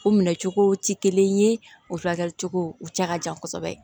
O minɛ cogo tɛ kelen ye o furakɛli cogo u cɛ ka jan kosɛbɛ